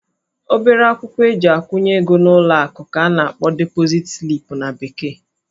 Obere akwụkwọ eji akwụnye ego n'ụlọ akụ ka a na-akpọ deposit slip na bekee